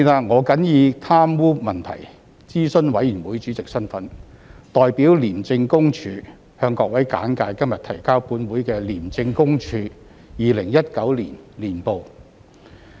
我謹以貪污問題諮詢委員會主席身份，代表廉政公署，向各位簡介今日提交本會的廉政公署2019年報。